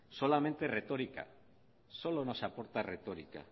solamente retórica solo nos aporta retórica